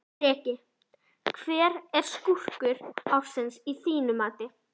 Breki: Hver er skúrkur ársins að þínu mati?